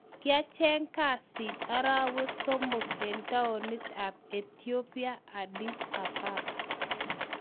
Kiacheeng kasiit arawek somok eng toinit ab ethiopia, Addis ababa